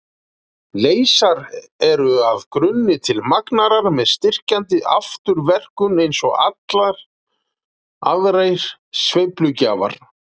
Leysar eru að grunni til magnarar með styrkjandi afturverkun eins og allir aðrir sveiflugjafar.